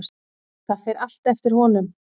Það fer allt eftir honum.